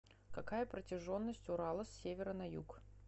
какая протяженность урала с севера на юг